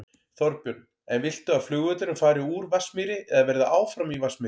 Þorbjörn: En viltu að flugvöllurinn fari úr Vatnsmýri eða verði áfram í Vatnsmýri?